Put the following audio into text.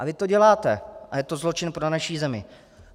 A vy to děláte a je to zločin pro naši zemi.